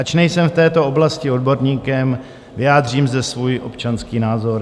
Ač nejsem v této oblasti odborníkem, vyjádřím zde svůj občanský názor.